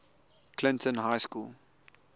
clinton high school